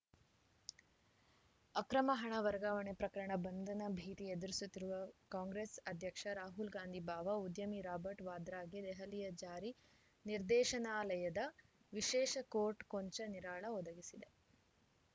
ಅಕ್ರಮ ಹಣ ವರ್ಗಾವಣೆ ಪ್ರಕರಣ ಬಂಧನ ಭೀತಿ ಎದುರಿಸುತ್ತಿದ್ದ ಕಾಂಗ್ರೆಸ್‌ ಅಧ್ಯಕ್ಷ ರಾಹುಲ್‌ ಗಾಂಧಿ ಭಾವ ಉದ್ಯಮಿ ರಾಬರ್ಟ್‌ ವಾದ್ರಾಗೆ ದೆಹಲಿಯ ಜಾರಿ ನಿರ್ದೇಶನಾಲಯದ ವಿಶೇಷ ಕೋರ್ಟ್‌ ಕೊಂಚ ನಿರಾಳ ಒದಗಿಸಿದೆ